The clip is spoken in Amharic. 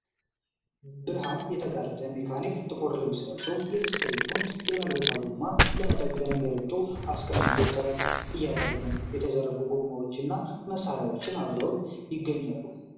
ብርሃን የጋረደው ሜካኒክ ጥቁር ልብስ ለብሶ፣ የብስክሌቱን የተበላሸ ጎማ ለመጠገን ገልብጦ አስቀምጦ ጥረት እያደረገ ነው። የተዘረጉ ጎማዎችና መሳሪያዎች አብረውት ይገኛሉ።